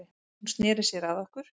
Hún sneri sér að okkur